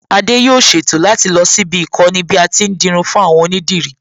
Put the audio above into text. Adé yóò ṣètò láti lọ síbi íkọ́ni bí a ti ń dirun fún àwọn onídìrí